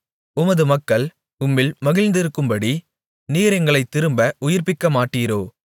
உமது மக்கள் உம்மில் மகிழ்ந்திருக்கும்படி நீர் எங்களைத் திரும்ப உயிர்ப்பிக்கமாட்டீரோ